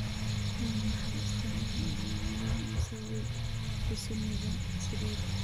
Waa maxay astamaha iyo calaamadaha musawir trisomiga sided?